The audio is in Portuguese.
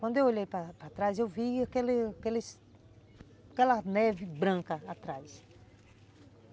Quando eu olhei para para trás, eu vi aquela neve branca atrás.